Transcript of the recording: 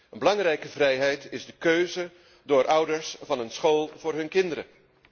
Een belangrijke vrijheid is de keuze door ouders van een school voor hun kinderen.